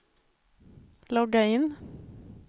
logga in